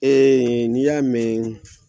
Ee ni y'a mɛn